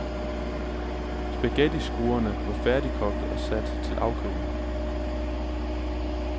Spaghettiskruerne var færdigkogte og sat til afkøling.